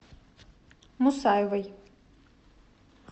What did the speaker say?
мусаевой